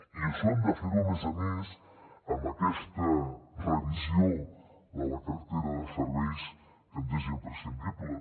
i això hem de fer ho a més a més amb aquesta revisió de la cartera de serveis que ens és imprescindible